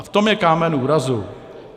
A v tom je kámen úrazu.